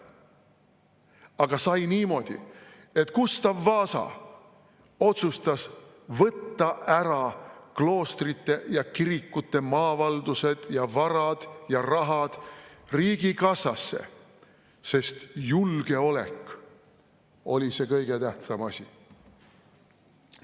Aga sai niimoodi, et Gustav Vasa otsustas võtta ära kloostrite ja kirikute maavaldused ja varad ja rahad riigikassasse, sest julgeolek oli see kõige tähtsam asi.